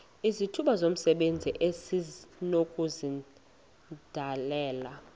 izithuba zomsebenzi esinokuzidalela